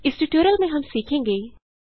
इस ट्यटोरियल में हम सीखेंगे